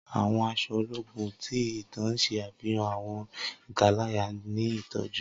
Awọn aṣọ ologun ti itan ṣe afihan awọn italaya ni itọju.